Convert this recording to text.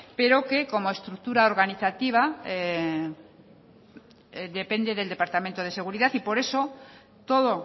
pero como estructura organizativa depende del departamento de seguridad por eso todo